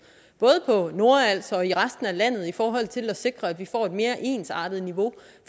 både på nordals og i resten af landet i forhold til at sikre at vi får et mere ensartet niveau